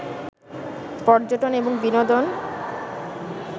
পর্যটন এবং বিনোদন